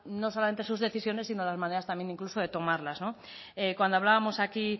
no solamente sus decisiones sino las maneras también incluso de tomarlas cuando hablábamos aquí